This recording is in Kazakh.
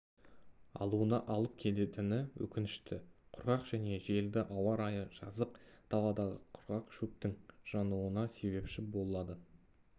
алуына алып келетіні өкінішті құрғақ және желді ауа-райы жазық даладағы құрғақ шөптің жануына себепші болады